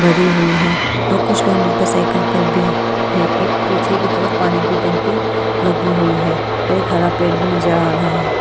भरी हुई है और कुछ लोग मोटरसाइकिल पर भी है एक पीछे की तरफ पानी की टंकी लगी हुई है एक हरा पेड़ भी नजर आ रहा है।